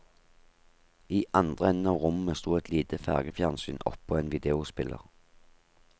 I andre enden av rommet sto et lite fargefjernsyn oppå en videospiller.